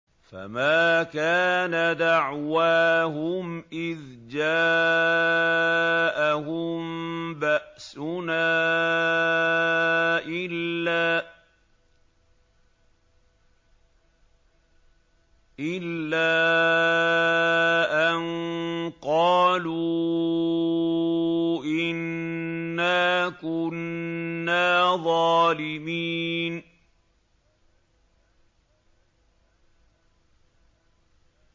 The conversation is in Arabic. فَمَا كَانَ دَعْوَاهُمْ إِذْ جَاءَهُم بَأْسُنَا إِلَّا أَن قَالُوا إِنَّا كُنَّا ظَالِمِينَ